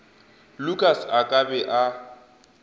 lukas a ka be a